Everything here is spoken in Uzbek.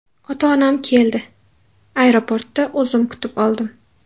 Ota-onam keldi, aeroportda o‘zim kutib oldim.